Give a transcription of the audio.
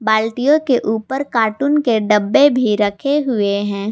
बाल्टियों के ऊपर कार्टून के डब्बे भी रखे हुए हैं।